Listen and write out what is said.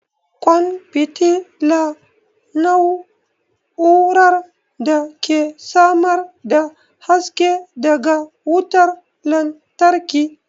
ƙwan fitila na'urar da ke samar da haske daga wutar lantarki.